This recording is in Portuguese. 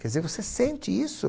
Quer dizer, você sente isso.